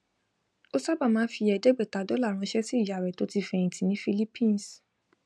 ó sábà máa ń fi ẹẹdẹgbẹta dola ránṣé sí ìyá rẹ tó ti fẹyìn tì ní philippines